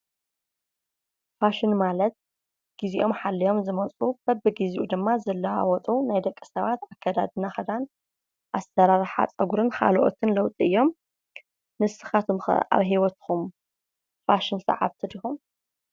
ፋሽን ማለት ግዜኦም ሓልዮም ዝመጹ በብግዚኡ ድማ ዝለዋወጡ ናይ ደቂ ሰባት ኣከዳድና ክዳን ኣሰራርሓ ጸጉርን ካልኦት ለዉጢ እዮም። ንስካትኩም ከ ኣብ ሂወትኩም ፋሽን ስዓብቲ ዲኩም?